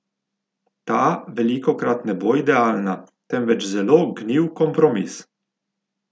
Ta velikokrat ne bo idealna, temveč zelo gnil kompromis.